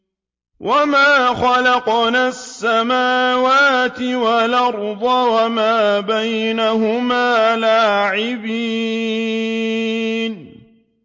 وَمَا خَلَقْنَا السَّمَاوَاتِ وَالْأَرْضَ وَمَا بَيْنَهُمَا لَاعِبِينَ